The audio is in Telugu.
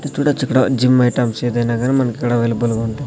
చూడొచ్చు ఇక్కడ జిమ్ ఐటమ్స్ ఏదైనా కానీ మనకు ఇక్కడ అవైలబుల్ గా ఉంటాయి.